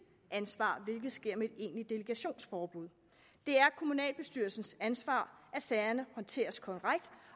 ansvar hvilket sker med et egentligt delegationsforbud det er kommunalbestyrelsens ansvar at sagerne håndteres korrekt